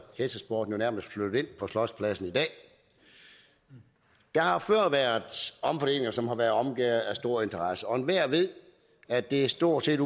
hestesporten nærmest flyttet ind på slotspladsen der har før været omfordelinger som har været omgærdet med stor interesse og enhver ved at det stort set